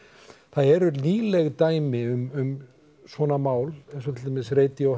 það eru nýleg dæmi um svona mál eins og til dæmis